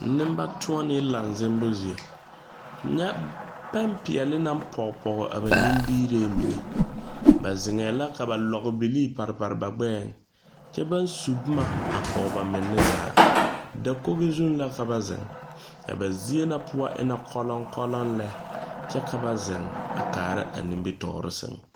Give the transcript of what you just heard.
Neŋbɛtuone laŋ zembu zie. Nyɛ pɛn piɛle na poge poge a ba nimiirɛ mene. Ba zeŋɛ la ka ba lɔgu bilii pare pare ba gbɛɛŋ. Kyɛ ba su boma a poge ba mene zaa. dakoge zu la ka ba zeŋ. A ba zie na poʊ e na koluŋkoluŋ lɛ kyɛ ka ba zeŋ a kaara a nimitoore seŋ.